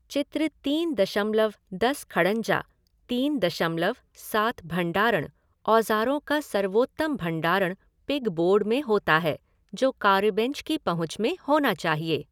चित्र तीन दशमलव दस खड़ंजा, तीन दशमलव सात भण्डारण, औजारों का सर्वोत्तम भण्डारण पिग बोर्ड में होता है जो कार्यबेंच की पहुँच में होना चाहिए।